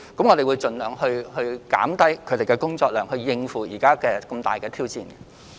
我們會盡量減低員工的工作量，以應付目前這個重大挑戰。